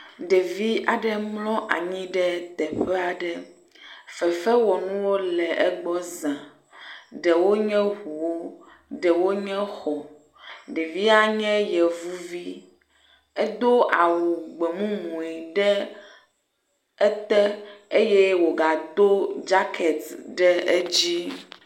Ɖevi aɖe mlɔ anyi ɖe teƒe aɖe. Fefewɔnuwo le egbɔ za. Ɖewo nye ɔuwo, ɖewo nye xɔ. Ɖevia nye yevuvi. Edo awu gbemumu ɖe ete eye wogado dzaketi ɖe edzi.